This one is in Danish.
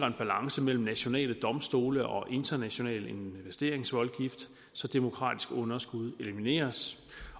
en balance mellem nationale domstole og en international investeringsvoldgift så demokratisk underskud elimineres